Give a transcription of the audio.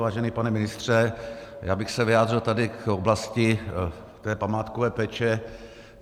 Vážený pane ministře, já bych se vyjádřil tady k oblasti té památkové péče.